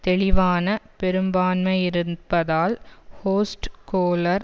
தெளிவான பெரும்பான்மையிருப்பதால் ஹோஸ்ட் கோலர்